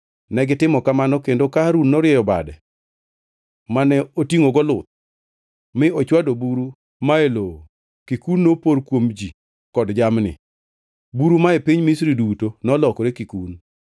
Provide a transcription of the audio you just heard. Negitimo mano kendo ka Harun norieyo bade mane otingʼogo luth mi ochwado buru ma e lowo, kikun nopor kuom ji kod jamni. Buru ma e piny Misri duto nolokore kikun.